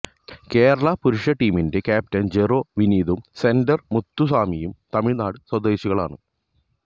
കേരള പുരുഷ ടീമിന്റെ ക്യാപ്റ്റന് ജെറോ വിനീതും സെറ്റര് മുത്തുസാമിയും തമിഴ്നാട് സ്വദേശികളാണ്